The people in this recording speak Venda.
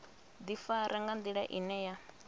ḓifara nga nḓila ine ya